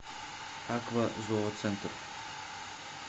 аква зооцентр